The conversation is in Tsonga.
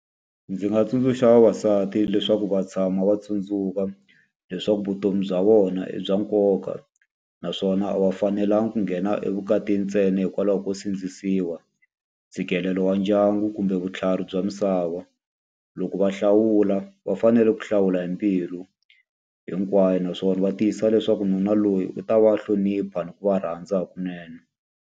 Ndzi nga tsundzuxa vavasati leswaku va tshama va tsundzuka leswaku vutomi bya vona i bya nkoka, naswona a va fanelanga ku nghena evukatini ntsena hikwalaho ko sindzisiwa, ntshikelelo wa ndyangu kumbe vutlhari bya misava. Loko va hlawula va fanele ku hlawula hi mbilu hinkwayo, naswona va tiyisisa leswaku nuna loyi u ta va hlonipha ni ku va rhandza hakunene.